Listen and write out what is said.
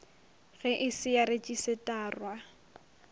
ge e se ya retšisetarwa